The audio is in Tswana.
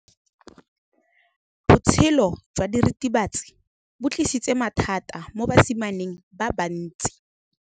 Botshelo jwa diritibatsi ke bo tlisitse mathata mo basimaneng ba bantsi.